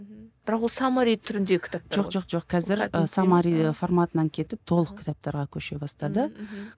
мхм бірақ ол саммари түрінде кітаптар ғой жоқ жоқ жоқ қазір і саммари форматынан кетіп толық кітаптарға көше бастады ммм мхм